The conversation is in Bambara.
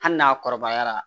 Hali n'a kɔrɔbayara